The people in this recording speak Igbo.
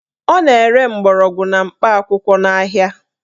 Ọ na-ere mgbọrọgwụ na mkpa akwụkwọ n'ahia